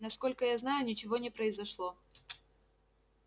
насколько я знаю ничего не произошло